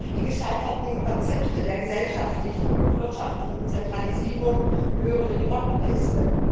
Die gescheiterten Konzepte der gesellschaftlichen und wirtschaftlichen Zentralisierung gehören in die Mottenkiste.